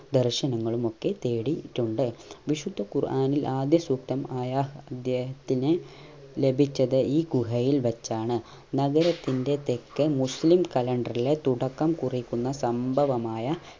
ദർശനങ്ങളുമൊക്കെ തേടീട്ടുണ്ട് വിശുദ്ധ ഖുർആനിൽ ആദ്യ സൂക്തം ആയ ഇദ്ദേഹത്തിന് ലഭിച്ചത് ഈ ഗുഹയിൽ വെച്ചാണ് നഗരത്തിന്റെ തെക്കേ മുസ്ലീം കലണ്ടറിലെ തുടക്കം കുറിക്കുന്ന സംഭവമായ